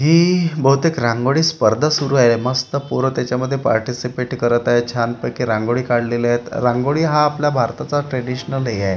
हि बहुतेक रांगोळी स्पर्धा सुरु आहे मस्त पोरं त्याच्यामध्ये पार्टीसीपेट करत आहे छानपैकी रांगोळी काढलेल्या आहेत रांगोळी हा आपल्या भारताचा ट्रेडीशनल हे आहे.